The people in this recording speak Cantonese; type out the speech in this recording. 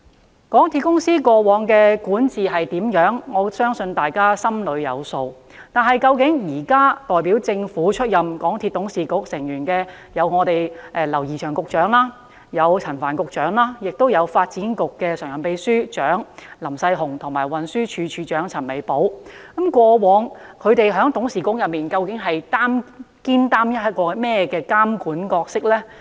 對於港鐵公司過往的管治表現，我相信大家心中有數，但究竟現時代表政府出任港鐵董事局成員的劉怡翔局長、陳帆局長和發展局常任秘書長林世雄及運輸署署長陳美寶，過去在董事局內肩負起怎樣的監管角色呢？